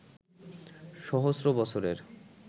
সহস্র বছরের